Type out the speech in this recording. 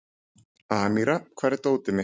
Amíra, hvar er dótið mitt?